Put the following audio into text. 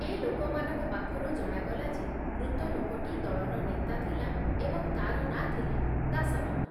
ଏ ଲୋକମାନଙ୍କ ପାଖରୁ ଜଣାଗଲା ଯେ ମୃତ ଲୋକଟି ଦଳର ନେତା ଥିଲା ଏବଂ ତାର ନାଁ ଥିଲା ଦାସରାମ ।